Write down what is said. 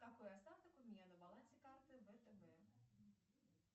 какой остаток у меня на балансе карты втб